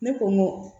Ne ko n ko